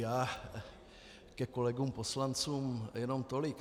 Já ke kolegům poslancům jenom tolik.